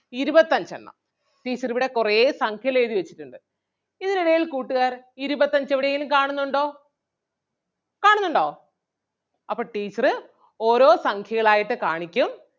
ഇരുപത്തഞ്ച് എണ്ണം teacher ഇവിടെ കൊറേ സംഖ്യകൾ എഴുതി വെച്ചിട്ടൊണ്ട്. ഇതിനിടയിൽ കൂട്ടുകാർ ഇരുപത്തഞ്ച് എവിടെയെങ്കിലും കാണുന്നുണ്ടോ കാണുന്നുണ്ടോ? അപ്പൊ teacher ഓരോ സംഖ്യകൾ ആയിട്ട് കാണിക്കും.